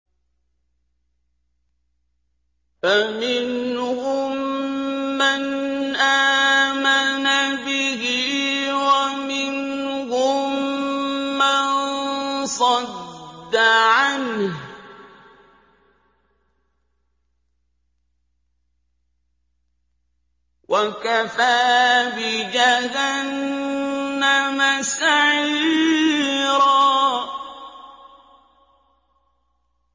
فَمِنْهُم مَّنْ آمَنَ بِهِ وَمِنْهُم مَّن صَدَّ عَنْهُ ۚ وَكَفَىٰ بِجَهَنَّمَ سَعِيرًا